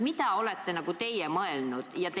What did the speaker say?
Mida olete teie mõelnud?